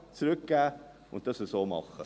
Zurückgeben und es so machen.»